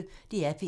DR P1